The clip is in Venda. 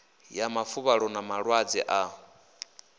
ya mafuvhalo na malwadze a